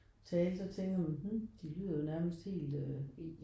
Tale så tænker man mh de lyder jo nærmest helt øh